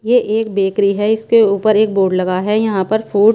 ये एक बेकरी हैं इसके ऊपर एक बोर्ड लगा हैं यहाँ पर फूड --